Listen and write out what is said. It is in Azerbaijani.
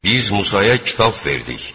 Biz Musaya kitab verdik.